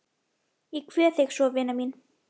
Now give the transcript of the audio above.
Ég kveð þig svo vina mín.